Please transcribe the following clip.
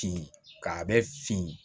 Fin k'a bɛ fin